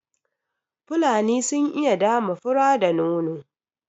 Fulani sun iya dama fura da nono